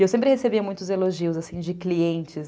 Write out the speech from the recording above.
E eu sempre recebia muitos elogios assim, de clientes.